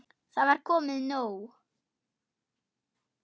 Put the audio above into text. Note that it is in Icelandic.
Það var komið nóg.